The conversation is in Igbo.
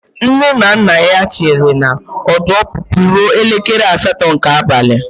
Nne na nna ya chere na ọdụ ọpụpụ ruo elekere asatọ nke abalị.